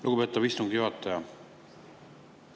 Lugupeetav istungi juhataja!